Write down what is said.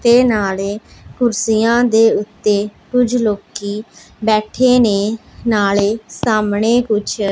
ਤੇ ਨਾਲੇ ਕੁਰਸੀਆਂ ਦੇ ਓੱਤੇ ਕੁਝ ਲੋਕੀ ਬੈਠੇ ਨੇ ਨਾਲੇ ਸਾਹਮਣੇ ਕੁੱਛ --